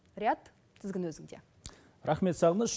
риат тізгін өзіңде рахмет сағыныш